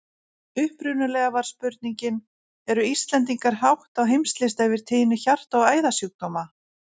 Upprunalega var spurningin: Eru Íslendingar hátt á heimslista yfir tíðni hjarta- og æðasjúkdóma?